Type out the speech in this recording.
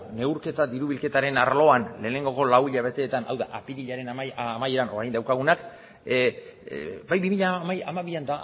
neurketa diru bilketaren arloan lehenengo lau hilabeteetan hau da apirilaren amaieran orain daukagunak bai bi mila hamabian